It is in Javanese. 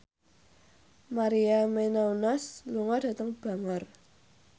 Maria Menounos lunga dhateng Bangor